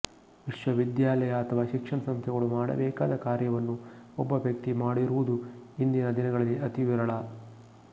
ವಿಶ್ವವಿದ್ಯಾಲಯ ಅಥವಾ ಶಿಕ್ಷಣ ಸಂಸ್ಥೆಗಳು ಮಾಡಬೇಕಾದ ಕಾರ್ಯವನ್ನು ಒಬ್ಬ ವ್ಯಕ್ತಿ ಮಾಡಿರುವುದು ಇಂದಿನ ದಿನಗಳಲ್ಲಿ ಅತಿ ವಿರಳ